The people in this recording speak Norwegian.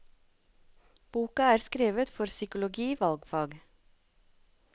Boka er skrevet for psykologi valgfag.